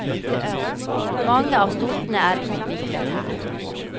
Mange av sortene er utviklet her.